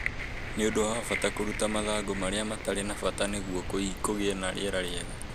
Nĩ ũndũ wa bata kũruta mathangũ marĩa matarĩ na bata nĩguo kũgĩe na rĩera rĩiega